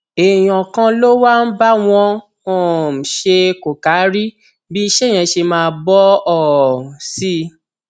èèyàn kan ló wá ń bá wọn um ṣe kòkáárí bí iṣẹ yẹn ṣe máa bọ um sí i